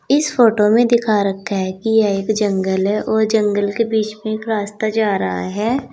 इस फोटो में दिखा रखा है कि यह एक जंगल है और जंगल के बीच में एक रास्ता जा रहा है।